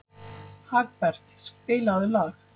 Hagbert, spilaðu lag.